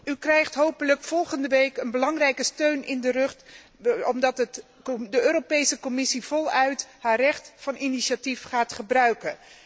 U krijgt hopelijk volgende week een belangrijke steun in de rug, omdat de Europese Commissie voluit haar recht van initiatief gaat gebruiken.